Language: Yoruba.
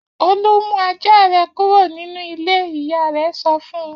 Olú mú ajá rẹ kúrò nínú ilé! Ìyá rẹ̀ sọ fún un.